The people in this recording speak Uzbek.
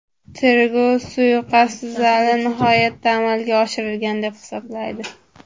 Tergov suiqasd g‘arazli niyatda amalga oshirilgan, deb hisoblaydi.